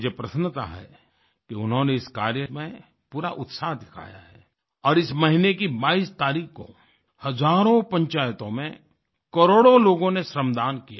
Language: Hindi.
मुझे प्रसन्नता है कि उन्होंने इस कार्य में पूरा उत्साह दिखाया है और इस महीने की 22 तारीख को हजारों पंचायतों में करोड़ों लोगों ने श्रमदान किया